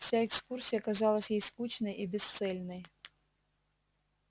вся экскурсия казалась ей скучной и бесцельной